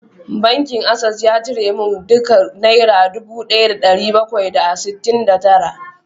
Bankin Access ya cire min duka naira dubu daya da dari bakwai da sittin da tara